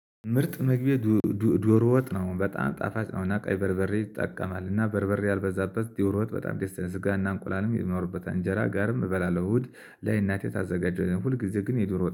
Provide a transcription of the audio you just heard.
ምርጥ ምግቤ ዶሮ ወጥ ነው በጣም ጣፋጭ ነው። እና ቀይ በርበሬ ይጠቀማል እና በርበሬ ያልበዛበት ዶሮ ወጥ በጣም ደስ ስጋና እንቁላልም የሚኖርበት አንጀራ ጋርም እበላለሁ እሁድ ለአይናቴ ታዘጋጀን ሁልጊዜ ግን የዱሮ